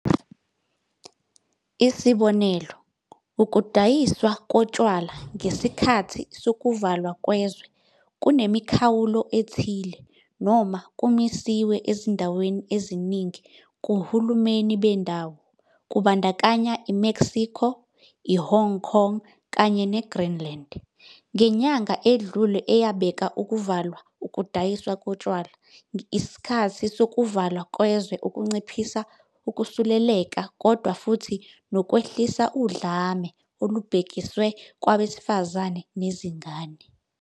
Isibonelo, ukudayiswa kotshwala ngesikhathi sokuvalwa kwezwe kunemikhawulo ethile noma kumisiwe ezindaweni eziningi ngohulumeni bendawo, kubandakanya i-Mexico, i-Hong Kong kanye neGreenland, ngenyanga edlule eyabeka ukuvalwa ukudayiswa kotshwala ngesikhathi sokuvalwa kwezwe ukunciphisa ukusuleleka kodwa futhi 'nokwehlisa udlame olubhekiswe kwabesifazane nezingane.'